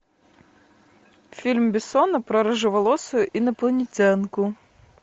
фильм бессона про рыжеволосую инопланетянку